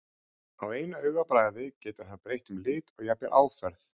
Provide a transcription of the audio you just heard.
Á einu augabragði getur hann breytt um lit og jafnvel áferð.